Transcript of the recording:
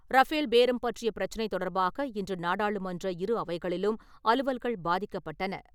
Rafale பேரம் பற்றிய பிரச்சனை தொடர்பாக, இன்று நாடாளுமன்ற இரு அவைகளிலும் அலுவல்கள் பாதிக்கப்பட்டன.